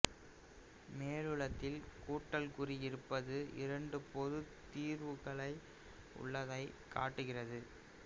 மேலுள்ளதில் கூட்டல் குறி இருப்பது இரண்டு பொதுத் தீர்வுகள் உள்ளதைக் காட்டுகின்றது